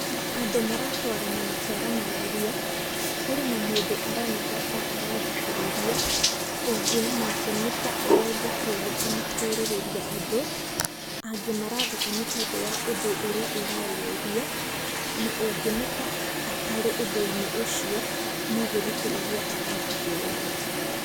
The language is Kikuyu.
Andũ maratwarana makĩaranagĩria, kũrĩ na mũndũ aronekana ta arathikĩrĩria, ũngĩ nake nĩ ta aroria kĩũria kana kũũrĩrĩria ũndũ, angĩ maratheka nĩtondũ wa ũndũ ũrĩa ũrarĩrĩrio, na ũngĩ nĩ ta atarĩ ũndũ-inĩ ũcio, no gũthikĩrĩria arathikĩrĩria.